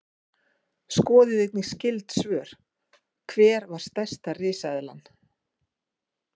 Skoðið einnig skyld svör: Hver var stærsta risaeðlan?